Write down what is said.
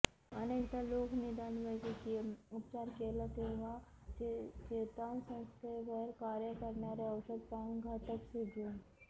अनेकदा लोक निदान वैद्यकीय उपचार केला तेव्हा चेतासंस्थेवर कार्य करणारे औषध प्राणघातक सिंड्रोम